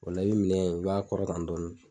O la nin minɛ in i b'a kɔrɔta dɔɔnin